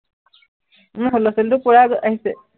উম সৰু লৰাটো পূৰা আহ আহিছে।